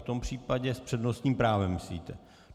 V tom případě s přednostním právem myslíte.